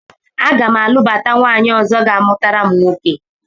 Aga m alụbata nwaanyị ọzọ ga-amụtara m nwoke